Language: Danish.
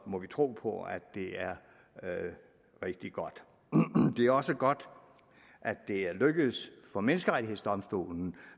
må vi tro på at det er rigtig godt det er også godt at det er lykkedes for menneskerettighedsdomstolen